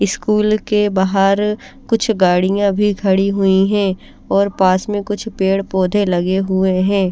School के बाहर कुछ गाड़िया भी खड़ी हुई हे और पास में कुछ पेड़ पोधे लगे हुए हे।